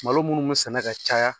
Malo munnu be sɛnɛ ka caya